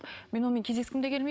мен онымен кездескім де келмей